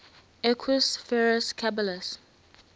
equus ferus caballus